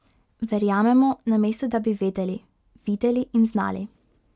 Verjamemo, namesto da bi vedeli, videli in znali.